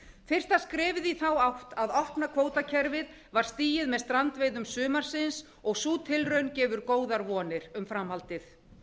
fyrsta skrefið í þá átt að opna kvótakerfið var stigið með strandveiðum sumarsins og sú tilraun gefur góðar vonir um framhaldið